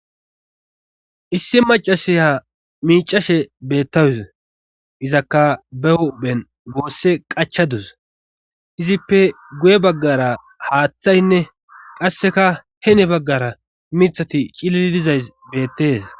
Issi macasiha miicashe bettawus izakka be hophen goosse qachadus izippe guye baggara haaththaynne qasseka hene baggara mithati cilili dizays beettes.